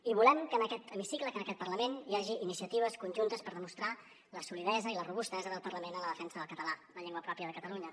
i volem que en aquest hemicicle que en aquest parlament hi hagi iniciatives conjuntes per demostrar la solidesa i la robustesa del parlament en la defensa del català la llengua pròpia de catalunya